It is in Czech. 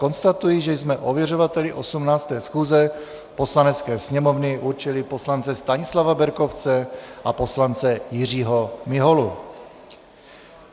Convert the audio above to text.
Konstatuji, že jsme ověřovateli 18. schůze Poslanecké sněmovny určili poslance Stanislava Berkovce a poslance Jiřího Miholu.